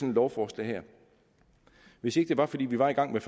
lovforslag her hvis ikke det var fordi vi var i gang med